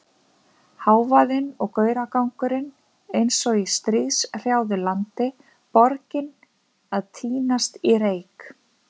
Hávaðinn og gauragangurinn eins og í stríðshrjáðu landi, borgin að týnast í reyk.